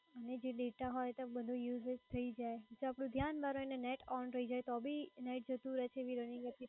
જે data હોય ધ્યાન બારું એનું USAGE થઈ જાય તો તો બી net on રહી જે તો બી જતું રે છે.